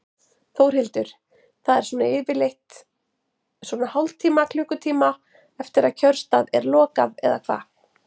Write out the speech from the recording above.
Þórhildur: Það er svona yfirleitt svona hálftíma, klukkutíma eftir að kjörstað er lokað eða hvað?